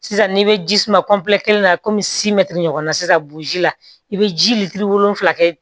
Sisan n'i bɛ ji suma kelen na ɲɔgɔn na sisan burusi la i bɛ ji lilitiri wolonwula kɛ